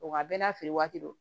Wa bɛɛ n'a feere waati do